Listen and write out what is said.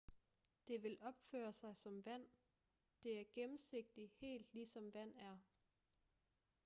det vil opføre sig som vand det er gennemsigtigt helt ligesom vand er